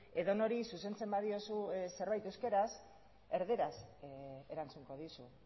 edonori zuzentzen badiozu zerbait euskaraz erdaraz erantzungo dizu